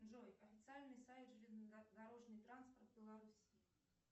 джой официальный сайт железнодорожный транспорт беларуссии